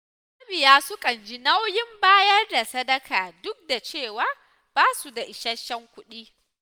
Mabiya sukan ji nauyin bayar da sadaka duk da cewa ba su da isasshen kuɗi.